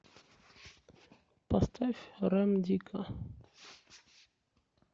поставь рэм дигга